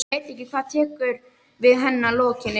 Ég veit ekki hvað tekur við að henni lokinni.